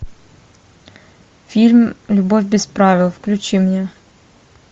фильм любовь без правил включи мне